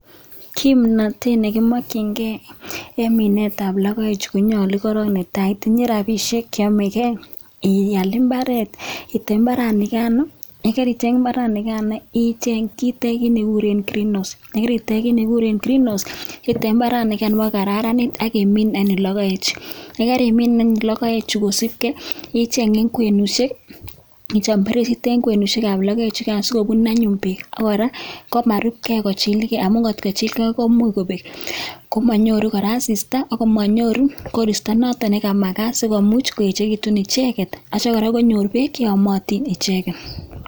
Ng'omnotet nekimokyingei en minet ab logoek chu konyolu koron netai itinye rapisiek cheyomegei iyal mbaret, item mbaranikan ak itech Greenhouse akitem mbaranikan kokararanit akimin logoek chu kosibkei akicheng' en kwenusiek ichop bereisisiek sikobun anyun beek ak kora komarupkei akochilgei amun kotkochilgei komuch kobek komonyoru kora asista ak koristo notok nemagat asikomuch koechekitun icheket ak kora konyor beek cheyomotin.